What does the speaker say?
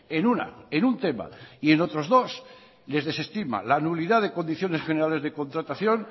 en una en un tema y en otros dos les desestima la nulidad de condiciones generales de contratación